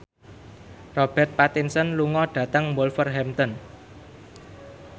Robert Pattinson lunga dhateng Wolverhampton